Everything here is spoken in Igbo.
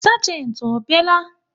Sagenti ọ bịa la?